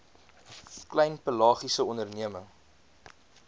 klein pelagiese onderneming